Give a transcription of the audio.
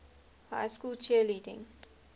high school cheerleading